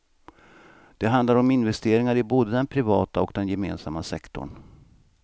Det handlar om investeringar i både den privata och den gemensamma sektorn.